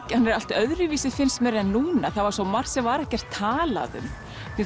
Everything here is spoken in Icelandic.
allt öðruvísi finnst mér en núna það var svo margt sem var ekkert talað um mér